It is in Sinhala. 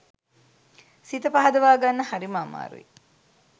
සිත පහදවා ගන්න හරිම අමාරුයි.